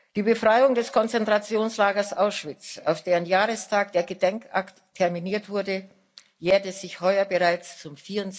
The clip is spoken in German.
Die Befreiung des Konzentrationslagers Auschwitz, auf deren Jahrestag der Gedenkakt terminiert wurde, jährte sich heuer bereits zum